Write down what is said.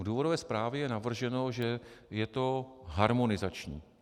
V důvodové zprávě je navrženo, že je to harmonizační.